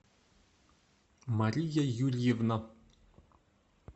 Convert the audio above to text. мария юрьевна